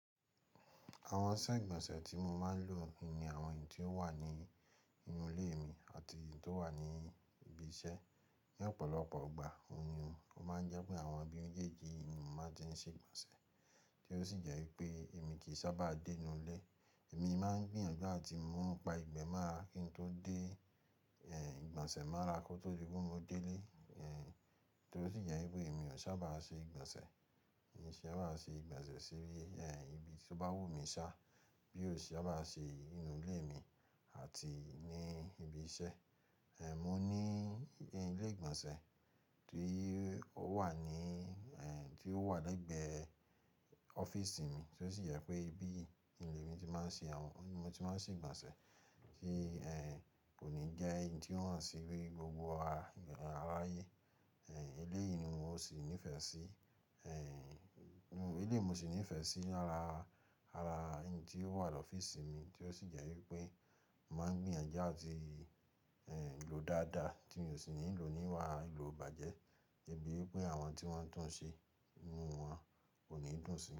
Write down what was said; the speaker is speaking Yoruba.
Àwọn sẹ́ ìgbọ̀nsẹ̀ tí mo máa ń lò ni àwọn èyí tí ó wà ní inú ilé mi àti èyí tí ó wà ní ibi iṣẹ́. Ni ọ̀pọ̀lọpọ̀ ìgbà ohùn ni, o máa ń jẹ́ pé àwọn ibi kékèké ni mo ti ń ṣe ìgbọ̀nsẹ̀ tí ó sì jẹ́ wípé èmi kì í sábà dé inú ilé. Èmi máa ń gbìyànjú àti ún pa ìgbẹ́ mọ́ra kí n tó dé, eh, ìgbọ̀nsẹ̀ mọ́ra ra kó tó di pé mo dé ilé. Eh, torí sì jẹ́ wípé èmi ò sábà ṣe ìgbọ̀nsẹ̀, èmi sì sábà ṣe ìgbọ̀nsẹ̀ síbí, eh, ibi tí ó bá wù mí ṣá bí ó sì sábà ṣe inú ilé mi àti ní ibi iṣẹ́. Eh, mo ní ilé ìgbọ̀nsẹ̀ tí ó wà ní, eh, tí ó wà lẹ́gbẹ̀ẹ́ ọ́fíísì mi, tí ó sì jẹ́ pé bí ilé mi tí màá ṣe àwọn ohun tí màá ṣe ìgbọ̀nsẹ̀, tí, eh, kò ní jẹ́ ẹni tí ò hàn síbí gbogbo aráyé. Eh, ilé yìí ni mo sì nífẹ̀ẹ́ sí. Eh, eléyìun ni mo ṣì nífẹ̀ẹ́ sí lara, ara ẹni tí ó wà lọ́fíìsì mi tí ó sì jẹ́ wípé mo máa ń gbìyànjú àti, eh, lò dáadáa tí mi ò sì nílò níwà ìlò bàjẹ́. Ibi wípé àwọn tí wọ́n tún ń ṣe, inú wọn kò ní dùn sí.